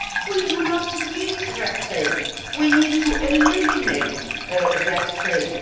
We do not need red tape we need to eliminate red tape.